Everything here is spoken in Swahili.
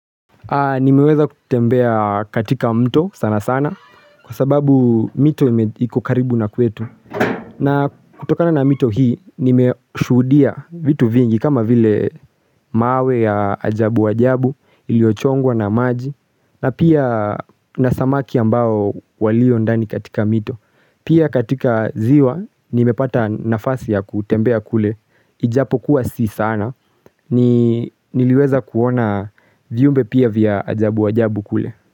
Nimeweza kutembea katika mto sana sana kwa sababu mito iko karibu na kwetu. Na kutokana na mito hii nime shuhudia vitu vingi kama vile mawe ya ajabu ajabu iliochongwa na maji na pia na samaki ambao walio ndani katika mto. Pia katika ziwa, nimepata nafasi ya kutembea kule, ijapo kuwa si sana, niliweza kuona viumbe pia vya ajabu ajabu kule.